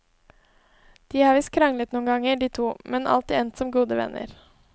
De har visst kranglet noen ganger, de to, men alltid endt som gode venner.